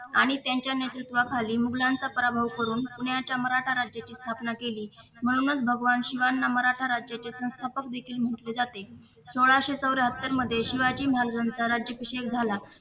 आणि त्यांच्या नेतृत्वाखालील मोगलांचा पराभव करून न्याय सम्राट राज्याची स्थापना केली म्हणूनच भगवान शिवांना मराठा राज्याचे संस्थापक देखील म्हटले जाते सोळाशे चौऱ्याहत्तर मध्ये शिवाजी महाराजांचा राज्याभिषेक झाला.